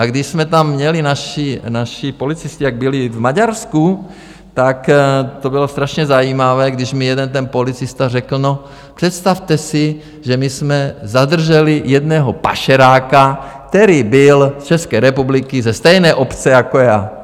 A když jsme tam měli naše policisty, jak byli v Maďarsku, tak to bylo strašně zajímavé, když mi jeden ten policista řekl: No, představte si, že my jsme zadrželi jednoho pašeráka, který byl z České republiky, ze stejné obce jako já.